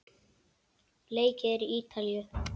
Leikið er í Ítalíu.